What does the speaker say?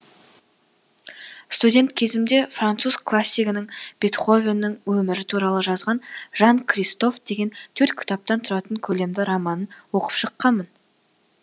студент кезімде француз классигінің бетховеннің өмірі туралы жазған жан кристоф деген төрт кітаптан тұратын көлемді романын оқып шыққанмын